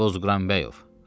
Qozqıranbəyov.